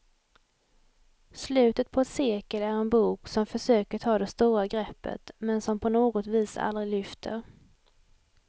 Slutet på ett sekel är en bok som försöker ta det stora greppet, men som på något vis aldrig lyfter.